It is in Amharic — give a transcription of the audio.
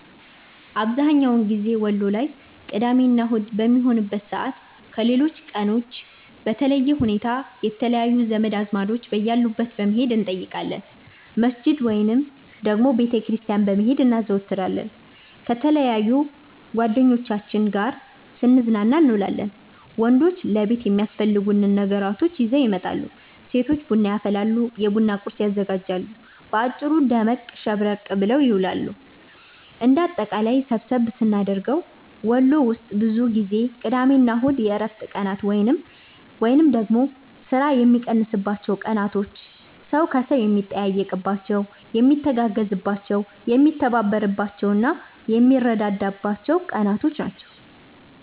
አብዝሀኛውን ጊዜ ወሎ ላይ ቅዳሜ እና አሁድ በሚሆንበት ሰዓት ከሌሎች ቀኖች በለየ ሁኔታ የተለያዩ ዘመድ አዝማዶች በያሉበት በመሄድ እንጠይቃለን፣ መስጅድ ወይንም ደግሞ ቤተ ክርስቲያን በመሄድ እናዘወትራለን፣ ከተለያዩ ጓደኞቻችን ጋር ስንዝናና እንውላለን። ወንዶች ለቤት የሚያስፈልጉ ነገራቶችን ይዘው ይመጣሉ፤ ሴቶች ቡና ያፈላሉ፤ የቡና ቁርስ ያዘጋጃሉ። በአጭሩ ደመቅ ሸብረቅ ተብሎ ይዋላል። እንደ አጠቃላይ ሰብሰብ ስናደርገው ወሎ ውስጥ ብዙ ጊዜ ቅዳሜ እና እሁድ የእረፍት ቀናት ወይንም ደግሞ ስራ የሚቀንስባቸው ቀናቶች፣ ሰው ከሰው የሚጠያየቅባቸው፣ የሚተጋገዝባቸው፣ የሚተባበርባቸው፣ የሚረዳዳበት ቀናቶች ናቸው።